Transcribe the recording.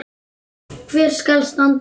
Hvar skal standa?